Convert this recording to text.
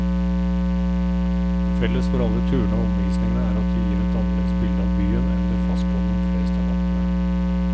Felles for alle turene og omvisningene er at de gir et annerledes bilde av byen enn det fastboende flest er vant med.